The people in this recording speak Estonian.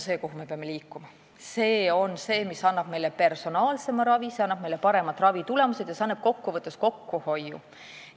See on see, mis annab meile personaalsema ravi, annab meile paremad ravitulemused ja kokku võttes ka kokkuhoiu.